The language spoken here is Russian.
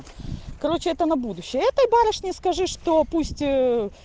короче это на будущее этой барышне скажи что пусть